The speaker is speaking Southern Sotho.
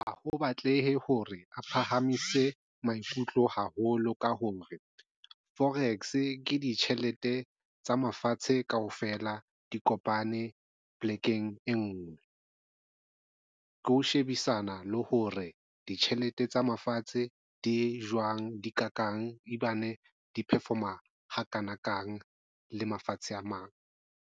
Ha ho batleha hore a phahamise maikutlo haholo ka hore forex ke ditjhelete tsa mafatshe kaofela di kopane p'lekeng e nngwe ke ho shebisana le hore ditjhelete tsa mafatshe di jwang, di kakang, di perform-a ha kanakang le mafatshe a mang.